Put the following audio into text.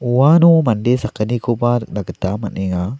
uano mande sakgnikoba nikna gita man·enga.